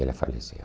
Ela faleceu.